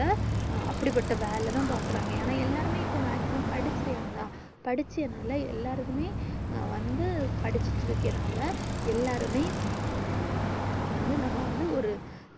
அப்டிபட்ட வேலை தான் பாக்குறாங்க ஏன்னா எல்லாருமே வேலை தான் பாக்குராங்க என்ன எல்லாருமே maximum படிச்சி இருகங்காலே படிச்சே நாளே எல்லாருமே வந்து படிச்சிட்டு இருக்கேனால எல்லாருமே வந்து நம்ம வந்து ஒரு